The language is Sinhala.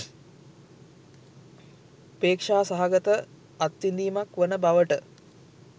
පේක්‍ෂා සහගත අත්විඳීමක් වන බවට